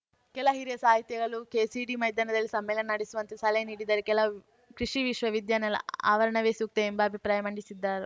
ಕೆಲ ಹಿರಿಯ ಸಾಹಿತಿಗಳು ಕೆಸಿಡಿ ಮೈದಾನದಲ್ಲೇ ಸಮ್ಮೇಳನ ನಡೆಸುವಂತೆ ಸಲಹೆ ನೀಡಿದರೆ ಕೆಲವರು ಕೃಷಿ ವಿಶ್ವ ವಿದ್ಯಾಲಯ ಆವರಣವೇ ಸೂಕ್ತ ಎಂಬ ಅಭಿಪ್ರಾಯ ಮಂಡಿಸಿದ